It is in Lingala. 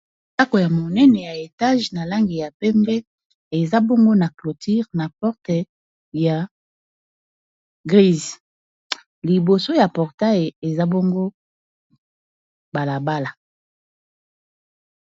ndako ya monene ya etage na langi ya pembe eza bongo na clotire na porte ya grise liboso ya portay eza bongo balabala